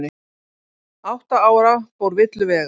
Átta ára fór villur vega